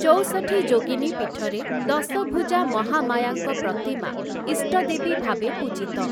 ଚଉଷଠି ଯୋଗିନୀ ପୀଠରେ ଦଶଭୁଜା ମହାମାୟାଙ୍କ ପ୍ରତିମା ଇଷ୍ଟଦେବୀ ଭାବେ ପୂଜିତ ।